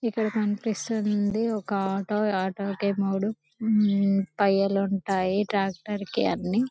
ఇక్కడ మనకి కనిపిస్తుంది ఒక ఆటో ఆటో కి మూడు టైర్లు ఉంటాయి ట్రాక్టర్లకు అన్ని